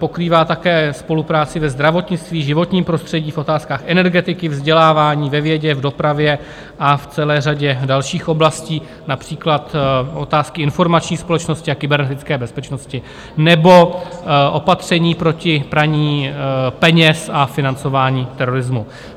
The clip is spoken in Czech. Pokrývá také spolupráci ve zdravotnictví, životním prostředí, v otázkách energetiky, vzdělávání, ve vědě, v dopravě a v celé řadě dalších oblastí, například otázky informační společnosti a kybernetické bezpečnosti nebo opatření proti praní peněz a financování terorismu.